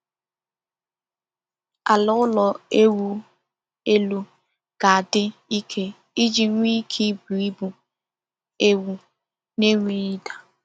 Ala ụlọ ewu elu ga-adị ike iji nwee ike ibu ibu ewu na-enweghị ịda.